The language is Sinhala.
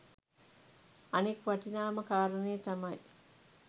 අනෙක් වටිනාම කාරණය තමයි